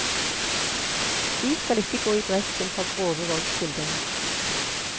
Vi skal ikke gå i bresjen for grove voldsskildringer.